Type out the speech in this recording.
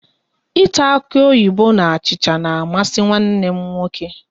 Ịta akuoyibo na achịcha na amasị nwanne m nwoke